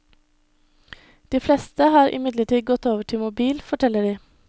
De fleste har imidlertid gått over til mobil, forteller de.